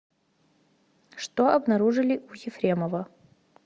что обнаружили у ефремова